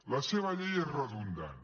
la seva llei és redundant